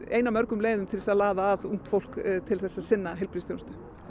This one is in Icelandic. ein af mörgum leiðum til þess að laða að ungt fólk til þess að sinna heilbrigðisþjónustu en